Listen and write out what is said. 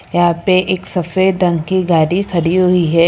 यहां पे एक सफेद रंग की गाड़ी खड़ी हुई है।